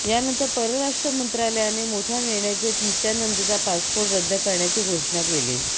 यानंतर परराष्ट्रमंत्रालयाने मोठा निर्णय घेत नित्यानंदचा पासपोर्ट रद्द करण्याची घोषणा केलीय